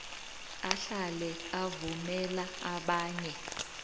ahlale avumela abanye